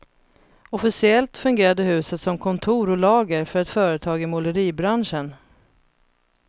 Officiellt fungerade huset som kontor och lager för ett företag i måleribranschen.